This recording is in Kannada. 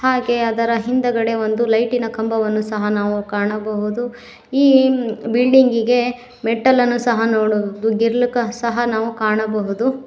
ಹಾಗೆ ಅದರ ಹಿಂದಗಡೆ ಒಂದು ಲೈಟಿನ ಕಂಬವನ್ನು ಸಹ ನಾವು ಕಾಣಬಹುದು ಈ ಬಿಲ್ಡಿಂಗಿಗೆ ಮೆಟ್ಟಲನ್ನು ಸಹ ನೋಡಬಹುದು ಗ್ರಿಲ್ ಸಹ ನಾವು ಕಾಣಬಹುದು.